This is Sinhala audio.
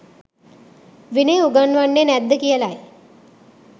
විනය උගන්වන්නේ නැද්ද කියලයි.